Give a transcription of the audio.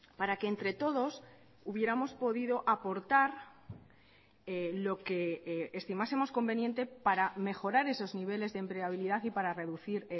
para que entre todos hubiéramos podido aportar lo que estimásemos conveniente para mejorar esos niveles de empleabilidad y para reducir